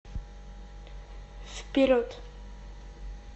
вперед